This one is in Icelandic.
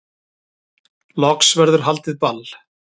Loks verður haldið ball